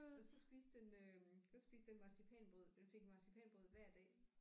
Og så spiste den øh så spiste den marcipanbrød den fik marcipanbrød hver dag